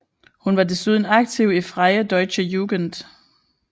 Hun var desuden aktiv i Freie Deutsche Jugend